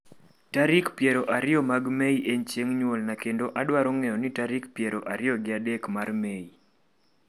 Tarik piero ariyo mag Mei en chieng' nyuolna kendo adwaro ng'eyo ni tarik piero ariyo gi adek mar Mei